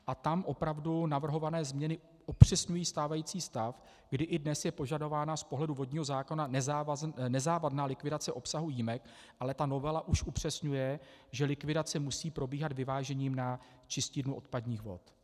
A tam opravdu navrhované změny upřesňují stávající stav, kdy i dnes je požadována z pohledu vodního zákona nezávadná likvidace obsahu jímek, ale ta novela už upřesňuje, že likvidace musí probíhat vyvážením na čistírnu odpadních vod.